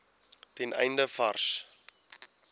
ten einde vars